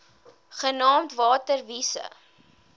genaamd water wise